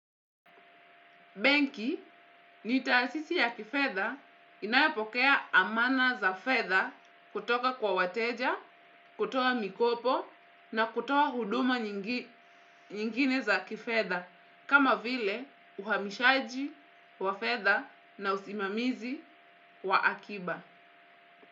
Benki, nitaasisi ya kifetha inayapokea amana za fetha kutoka kwa wateja, kutoa mikopo na kutoa huduma nyingine za kifetha kama vile uhamishaji wa fetha na usimamizi wa akiba.